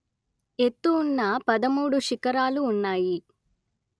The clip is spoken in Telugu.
ఎత్తు ఉన్న పదమూడు శిఖరాలు ఉన్నాయి